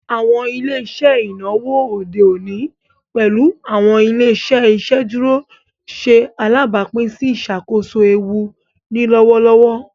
Awọn ile-iṣẹ inawo ode oni, pẹlu awọn ile-iṣẹ iṣeduro, ṣe alabapin si iṣakoso eewu ni lọwọlọwọ.